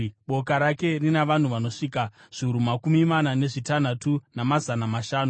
Boka rake rina vanhu vanosvika zviuru makumi mana nezvitanhatu, namazana mashanu.